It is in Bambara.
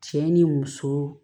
Cɛ ni muso